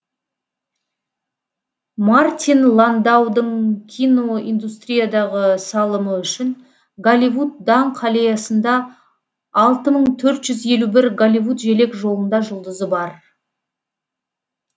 мартин ландаудың киноиндустриядағы салымы үшін голливуд даңқ аллеясында алты мың төрт жүз елу бір голливуд желекжолында жұлдызы бар